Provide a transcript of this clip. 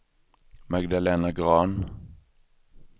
Magdalena Grahn